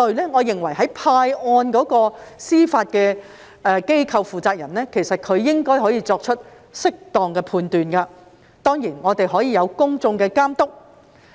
案件，我認為在派案時，司法機構負責人應可作出適當判斷，當然亦可有公眾監督。